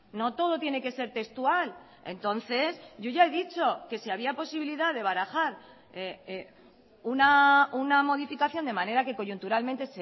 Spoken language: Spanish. no todo tiene que ser textual entonces yo ya he dicho que si había posibilidad de barajar una modificación de manera que coyunturalmente